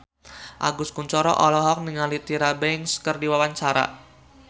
Agus Kuncoro olohok ningali Tyra Banks keur diwawancara